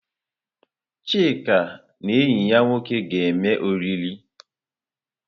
Chika na enyi ya nwoke ga-eme oriri.